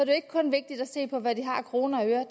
jo ikke kun vigtigt at se på hvad de har af kroner og øre